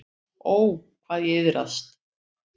Ó, hvað ég iðraðist.